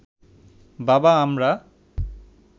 বাবা, আমরা